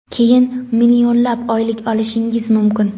keyin millionlab oylik olishingiz mumkin.